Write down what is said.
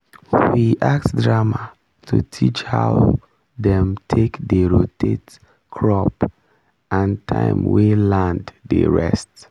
we act drama to teach how dem take dey rotate crop and time wey land dey rest